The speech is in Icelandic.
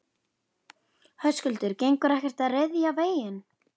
Höskuldur: Gengur ekkert að ryðja veginn?